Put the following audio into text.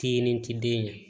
Ti nin ti den ɲɛ